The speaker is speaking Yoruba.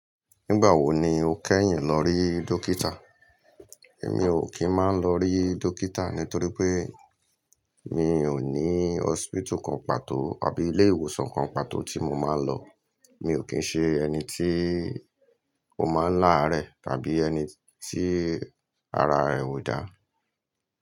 Nígbà wo ni o kẹ́yìn lọ rí dokítà? Èmi ò kí ń máa ń lọ rí dokítà nítorí pé mi ò ní hoṣptitu kan pàtó àbí ilé ìwòsàn kan pàtó tí mo máa ń lọ. Mi ò kín ń ṣe ẹni tí ó máa ń lárẹ̀ tàbí ẹni tí ara rẹ̀ ò dáa.